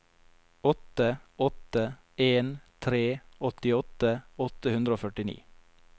åtte åtte en tre åttiåtte åtte hundre og førtini